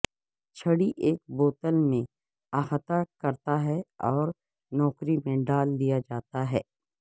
چھڑی ایک بوتل میں احاطہ کرتا ہے اور نوکری میں ڈال دیا جاتا ہے